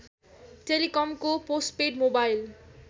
टेलिकमको postpaid mobile